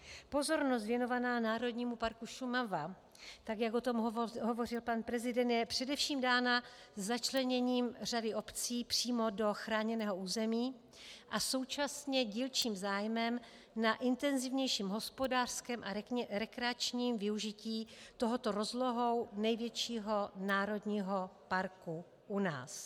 Pozornost věnovaná Národnímu parku Šumava, tak jak o tom hovořil pan prezident, je především dána začleněním řady obcí přímo do chráněného území a současně dílčím zájmem na intenzivnějším hospodářském a rekreačním využití tohoto rozlohou největšího národního parku u nás.